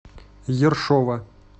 ершова